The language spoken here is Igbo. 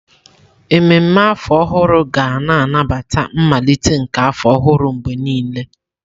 Ememme afọ ọhụrụ ga na-anabata mmalite nke afọ ọhụrụ mgbe niile.